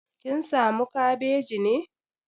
Kin samu kabeji ne?